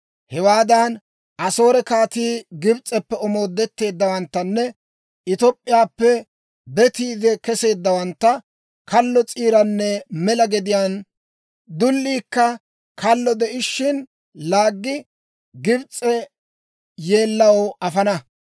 Hewaadan Asoore kaatii, Gibs'eppe omoodetteeddawanttanne Top'p'iyaappe betiide keseeddawantta kallo s'iiranne mela gediyaana, dulliikka kallo de'ishshin laaggi, Gibs'e yeellaw afana.